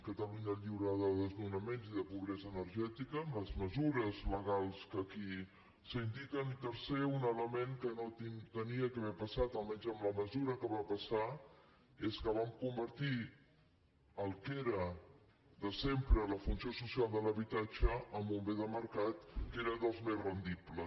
catalunya lliure de desnonaments i de pobresa energètica amb les mesures legals que aquí s’indiquen i tercer un element que no hauria d’haver passat almenys en la mesura que va passar que és que vam convertir el que era de sempre la funció social de l’habitatge en un bé de mercat que era dels més rendibles